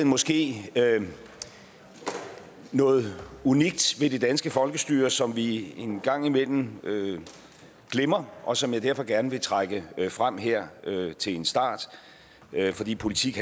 måske noget unikt ved det danske folkestyre som vi en gang imellem glemmer og som jeg derfor gerne vil trække frem her til en start fordi politik